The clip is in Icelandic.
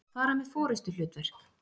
fara með forystuhlutverk.